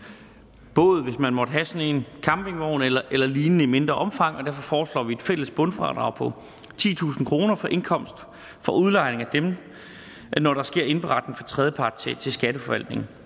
båd hvis man måtte have sådan en campingvogn eller lignende i mindre omfang og derfor foreslår vi et fælles bundfradrag på titusind kroner for indkomst fra udlejning af dem når der sker indberetning fra tredjepart til skatteforvaltningen